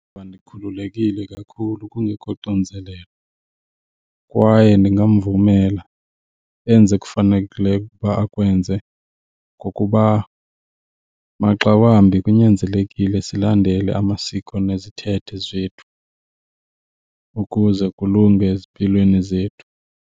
ndikhululekile kakhulu kungekho xinzelelo kwaye ndingamvumela enze ekufanelekileyo ukuba akwenze ngokuba maxa wambi kunyanzelekile silandele amasiko nezithethe zethu ukuze kulunge ezimpilweni zethu.